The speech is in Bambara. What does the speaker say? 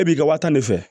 E b'i ka wa tan de fɛ